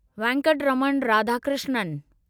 Venkataraman Radhakrishnan